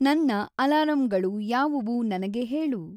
ನನ್ನ ಅಲಾರಂಳು ಯಾವು ನನಗೆ ಹೇಳು